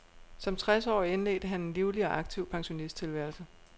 Som tres årig indledte han en livlig og aktiv pensionisttilværelse.